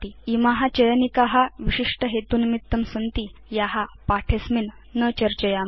इमा चयनिका विशिष्ट हेतुनिमित्तं सन्ति या पाठे अस्मिन् न चर्चयाम